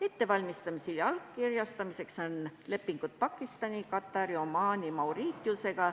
Ettevalmistamisel ja allkirjastamisel on lepingud Pakistani, Katari, Omaani ja Mauritiusega.